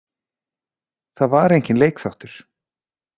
Það var enginn leikþáttur.